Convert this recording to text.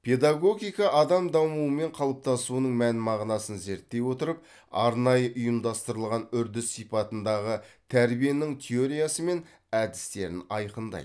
педагогика адам дамуы мен қалыптасуының мән мағынасын зерттей отырып арнайы ұйымдастырылған үрдіс сипатындағы тәрбиенің теориясы мен әдістерін айқындайды